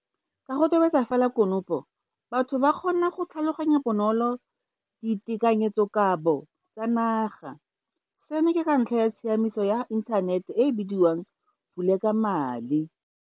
Ka go tobetsa fela konopo, batho ba kgona go tlhaloganya bonolo ditekanyetsoka bo tsa naga, seno ke ka ntlha ya tsamaiso ya inthanete e e bidiwang Vulekamali.